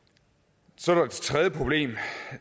så er der det tredje problem